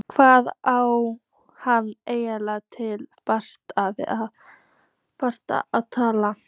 Hvað á hann eiginlega til bragðs að taka?